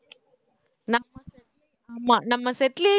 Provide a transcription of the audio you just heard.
ஆமா நம்ம set லயே